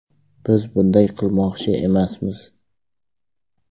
Biz bunday qilmoqchi emasmiz.